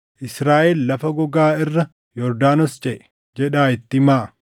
‘Israaʼel lafa gogaa irra Yordaanos ceʼe’ jedhaa itti himaa.